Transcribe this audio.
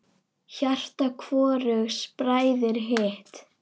Hjarta hvorugs bræðir hitt.